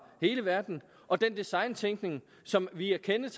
hele verden og den designtænkning som vi er kendt